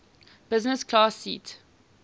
business class seat